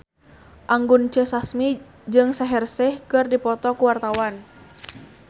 Anggun C. Sasmi jeung Shaheer Sheikh keur dipoto ku wartawan